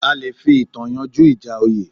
A le fi ìtàn yanjú ìjà oyè